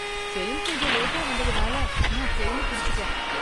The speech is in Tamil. ட்ரெயின் கொஞ்சம் லேட்டா வந்ததுனால நான் ட்ரெயின புடிச்சிட்டேன்.